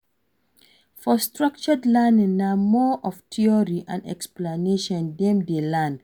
For structured learning na more of theory and explanation dem de learn